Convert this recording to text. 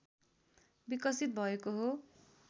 विकसित भएको हो